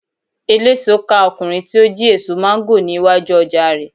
eleso ká ọkunrin ti o ji eso mango ni iwaju oja rẹ